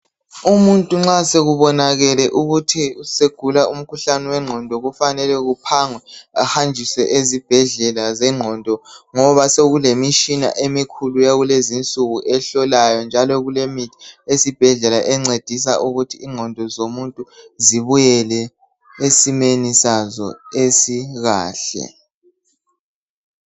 Umuntu nxa sekubonakele ukuthi usegula umkhuhlane wengqondo kufanele kuphangwe ahanjiswe ezibhedlela zengqondo ngoba sokulemitshina emikhulu ehlolayo njalo kulemithi yesibhedlela encedisa ukuthi ingqondo zomuntu zibuyile esimeni sazo esikahle